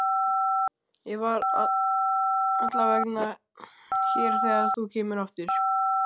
Ég verð allavega hér þegar þú kemur aftur.